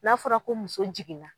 N'a fɔra ko muso jiginna.